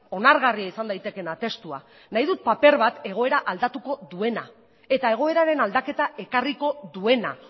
onargarria izan daitekeena testua nahi dut paper bat egoera aldatuko duena eta egoeraren aldaketa ekarriko duena